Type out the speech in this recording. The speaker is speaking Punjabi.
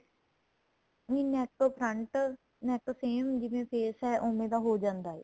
ਨਹੀਂ neck ਤੋ front neck same ਜਿਵੇਂ face ਏ ਉਵੇਂ ਦਾ ਹੋ ਜਾਂਦਾ ਏ